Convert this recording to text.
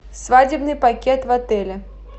свадебный пакет в отеле